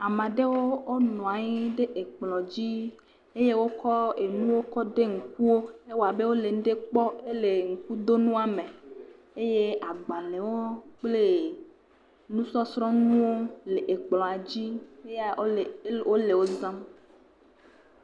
Ame aɖewo nɔ anyi ɖe ekplɔ dzi eye wokɔ nu ɖe kɔ ɖo ŋkuwo. Ewoa be wole nu kpɔm to nua me eye agbalẽwo kple nusɔsrɔ nuwo hã le ekplɔ dzi ye, wole wò zam.